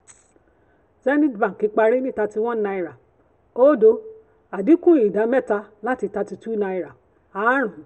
zenith bank parí ní thirty one naira oódo àdínkù ìdámẹ́ta láti thirty two naira aárùn-ún